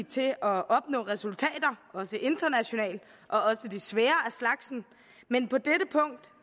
til at opnå resultater også internationalt og også de svære af slagsen men på dette punkt